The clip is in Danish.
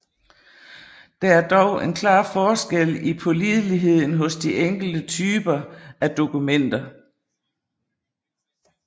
Der er dog en klar forskel i pålideligheden hos de enkelte typer af dokumenter